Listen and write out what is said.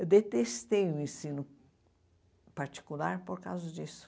Eu detestei o ensino particular por causa disso.